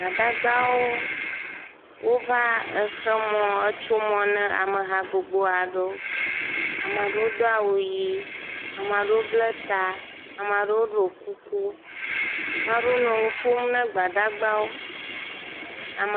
Gbadagbawo wova exe mɔ, etso mɔ ne ameha gbogbo aɖewo. Ame aɖewo do awu ʋi ame aɖewo ble ta, ame aɖewo ɖo kuku, maɖewo nɔ nu ƒom na gbadagbawo, ame …